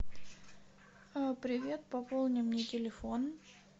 привет пополни мне телефон